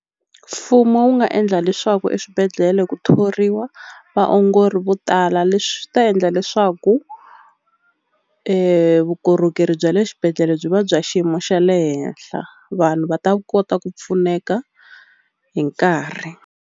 Mfumo wu nga endla leswaku eswibedhlele ku thoriwa vaongori vo tala leswi swi ta endla leswaku vukorhokeri bya le xibedhlele byi va bya xiyimo xa le henhla vanhu va ta kota ku pfuneka hi nkarhi.